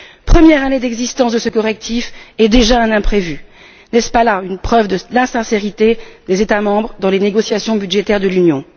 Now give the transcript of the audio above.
Première année d'existence de ce correctif et déjà un imprévu! N'est ce pas là une preuve du manque de sincérité de la part des États membres dans les négociations budgétaires de l'Union?